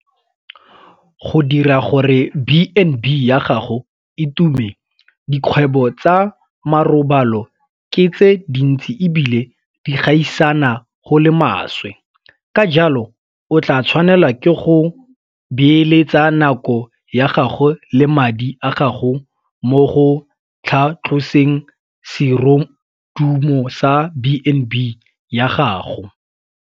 Go dira gore B and B ya gago e tume - Dikgwebo tsa marobalo ke tse dintsi e bile di gaisana go le maswe, ka jalo o tla tshwanelwa ke go beeletsa nako ya gago le madi a gago mo go tlhatloseng serodumo sa B and B ya gago.